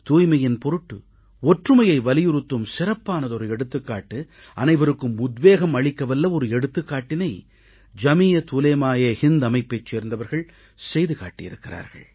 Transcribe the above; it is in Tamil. தூய்மையின் பொருட்டு ஒற்றுமையை வலியுறுத்தும் சிறப்பானதொரு எடுத்துக்காட்டு அனைவருக்கும் உத்வேகம் அளிக்கவல்ல ஒரு எடுத்துக்காட்டினை ஜமீயத் உலேமா ஏ ஹிந்த் அமைப்பைச் சேர்ந்தவர்கள் செய்து காட்டி இருக்கிறார்கள்